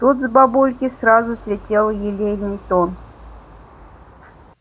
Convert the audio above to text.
тут с бабульки сразу слетел елейный тон